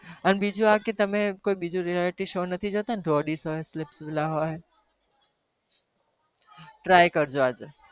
અને બીજું આ કે તમે બીજું કોઈ realtive show નથી જોતાને roadies હોય splitsvilla હોય try કરજો આજે.